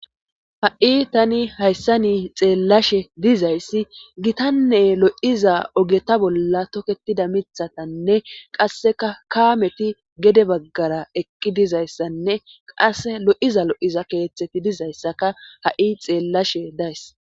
ha7i tani hayssa nii xeellashe dizayssi gitanne lo7iza ogeta bolla toketida mithatanne qasseka kaameti gede baggara eqqi dizayssanne qas lo7iza lo7iza keeththeti dizayssaka ha7i xeellashe days